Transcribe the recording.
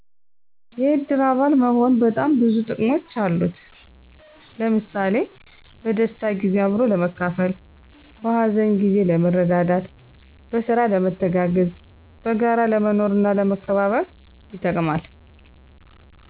የእድር አባል መሆን በጣም ብዙ ጥቅሞች አሉት። ለምሣሌ፦ በደስታ ጊዜ አብሮ ለመካፈል፣ በሀዘን ጊዜ ለመረዳዳት፣ በስራ ለመተጋገዝ፣ በጋራ ለመኖርና ለመመካከር ይጠቅማል።